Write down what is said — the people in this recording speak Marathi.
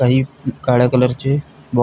काही काळ्या कलर चे बॉ--